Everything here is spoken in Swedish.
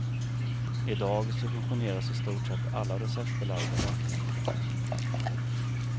I dag subventioneras i stort sett alla receptbelagda läkemedel.